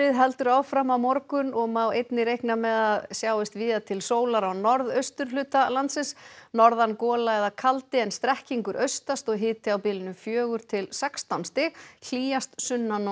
heldur áfram á morgun og má einnig reikna með að sjáist víða til sólar á norðausturhluta landsins norðan gola eða kaldi en strekkingur austast og hiti á bilinu fjögur til sextán stig hlýjast sunnan og